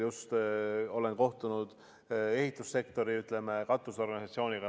Olen kohtunud ehitussektori katusorganisatsiooniga.